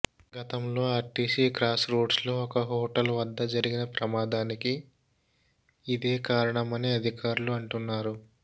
గతంలో RTC cross రోడ్స్లో ఒక హోటల్ వద్ద జరిగిన ప్రమదానికి ఇదే కారణమని అధికారులు అంటున్నారు